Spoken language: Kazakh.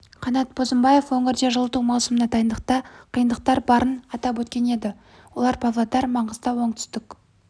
қанат бозымбаев өңірде жылыту маусымына дайындықта қиындықтар барын атап өткен еді олар павлодар маңғыстау оңтүстік